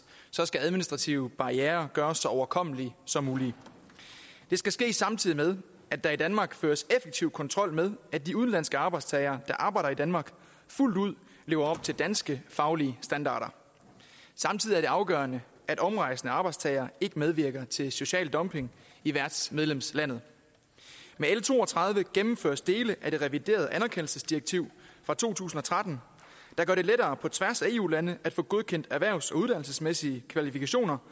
så skal administrative barrierer gøres så overkommelige som muligt det skal ske samtidig med at der i danmark føres effektiv kontrol med at de udenlandske arbejdstagere der arbejder i danmark fuldt ud lever op til danske faglige standarder samtidig er det afgørende at omrejsende arbejdstagere ikke medvirker til social dumping i værtsmedlemslandet med l to og tredive gennemføres dele af det reviderede anerkendelsesdirektiv fra to tusind og tretten der gør det lettere på tværs af eu lande at få godkendt erhvervs og uddannelsesmæssige kvalifikationer